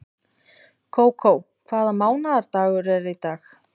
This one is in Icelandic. Kókó, hvaða mánaðardagur er í dag?